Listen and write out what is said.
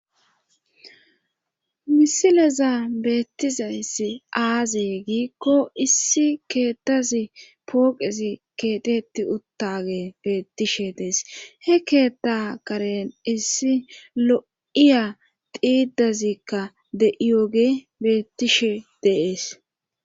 misileza beettizayssi aaze giikko issi keettazi pooqezi keetetti uttage beettishe dees he keetta karen issi lo'iya xiidazikka de'iyoge beettishe de'ees